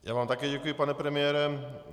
Já vám také děkuji, pane premiére.